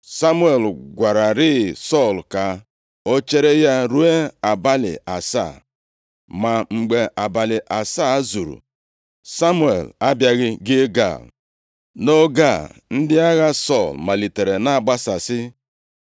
Samuel gwararịị Sọl ka o chere ya ruo abalị asaa, ma mgbe abalị asaa zuru Samuel abịaghị Gilgal. Nʼoge a, ndị agha Sọl malitere na-agbasasị.